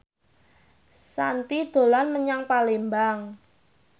Shanti dolan menyang Palembang